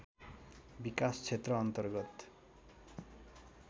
विकास क्षेत्र अन्तर्गत